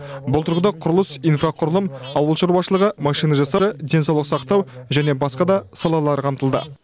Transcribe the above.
бұл тұрғыда құрылыс инфрақұрылым ауыл шаруашылығы машина жасау денсаулық сақтау және басқа да салалар қамтылды